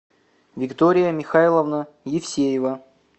виктория михайловна евсеева